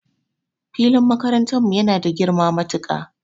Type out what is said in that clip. Filin makarantan mu yana da girma matuka